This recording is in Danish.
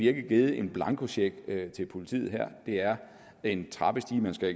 ikke givet en blankocheck til politiet her det er en trappestige man skal